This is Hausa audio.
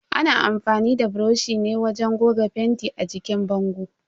Ana amfani da buroshi ne wajen goga fenti a jikin bango.